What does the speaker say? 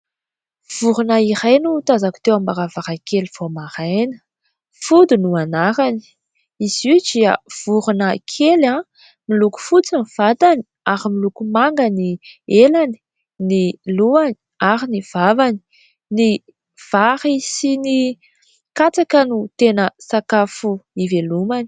Vorona iray no tazako teo am-baravarankely vao maraina. Fody no anarany. Izy io dia vorona kely miloko fotsy ny vatany ary miloko manga ny elany, ny lohany ary ny vavany. Ny vary sy ny katsaka no tena sakafo ivelomany.